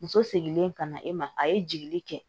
Muso seginlen ka na e ma a ye jigili kɛ